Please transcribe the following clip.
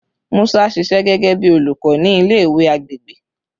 Musa ṣiṣẹ gẹgẹbi olukọ ni ile-iwe agbegbe